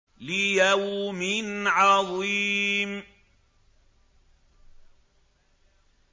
لِيَوْمٍ عَظِيمٍ